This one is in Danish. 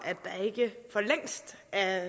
at